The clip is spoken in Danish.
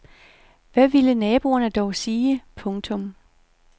Hvad ville naboerne dog ikke sige. punktum